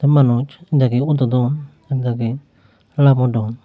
manus ekdagi wododon ekdagi lamodon.